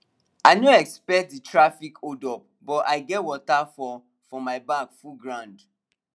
i no expect that traffic holdup but i get water for for my bag full ground